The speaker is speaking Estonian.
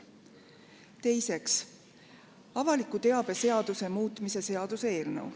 Teiseks, avaliku teabe seaduse muutmise seaduse eelnõu.